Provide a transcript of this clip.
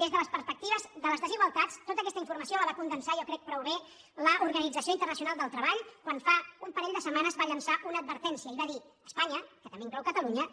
des de les perspectives de les desigualtats tota aques·ta informació la va condensar jo crec prou bé l’or·ganització internacional del treball quan fa un parell de setmanes va llençar una advertència i va dir es·panya que també inclou catalunya